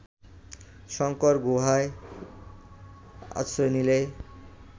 শঙ্কর গুহায় আশ্রয় নিলে